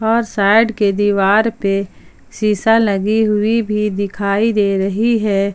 और साइड के दिवार पे शिशा लगी हुई भी दिखाई दे रही है।